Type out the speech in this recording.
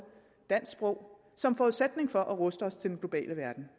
dansk sprog som forudsætning for at ruste os til den globale verden